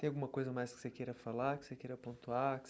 Tem alguma coisa mais que você queira falar, que você queira pontuar?